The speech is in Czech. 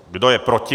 Kdo je proti?